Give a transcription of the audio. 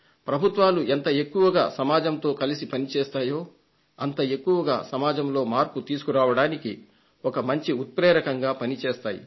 ప్రభుత్వాలు ఎంత ఎక్కువగా సమాజంతో కలసి పనిచేస్తాయో అంత ఎక్కువగా సమాజంలో మార్పు తీసుకురావడానికి ఒక మంచి ఉత్ప్రేరకంగా పనిచేస్తాయి